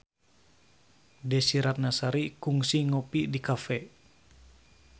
Desy Ratnasari kungsi ngopi di cafe